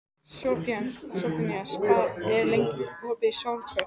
Sophanías, hvað er lengi opið í Stórkaup?